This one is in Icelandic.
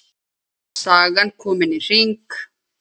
Sagan komin í hring.